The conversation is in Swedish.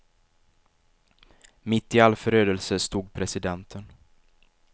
Mitt i all förödelse stod presidenten.